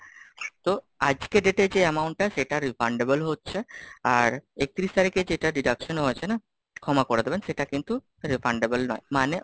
তো আজকের date এ যে amount টা সেটা Refundable হচ্ছে, আর একত্রিশ তারিখে যেটা deduction হয়েছে না, ক্ষমা করে দেবেন সেটা কিন্তু Refundable নয় মানে,